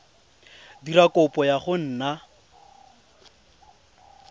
dira kopo ya go nna